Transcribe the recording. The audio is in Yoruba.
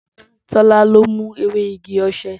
Tola ló mù èwé ìgí òse.